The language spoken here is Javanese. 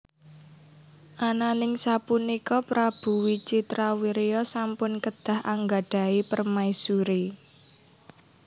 Ananing sapunika Prabu Wicitrawirya sampun kedah anggadhahi permaisuri